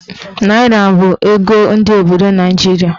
Naịra bụ ego ndị obodo Naijiria.